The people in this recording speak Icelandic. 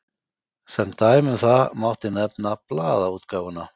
Sem dæmi um það mátti nefna blaðaútgáfuna.